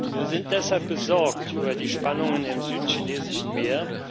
Wir sind deshalb besorgt über die Spannungen im Südchinesischen Meer.